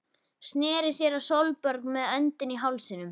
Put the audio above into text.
Sneri sér að Sólborgu með öndina í hálsinum.